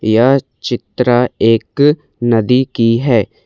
यह चित्र एक नदी की है।